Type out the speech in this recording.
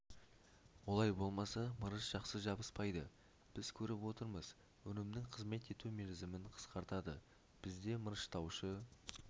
олай болмаса мырыш жақсы жабыспайды біз көріп отырмыз өнімнің қызмет ету мерзімін қысқартады бізде мырыштаушы